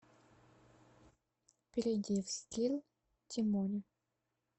перейди в скилл тимоня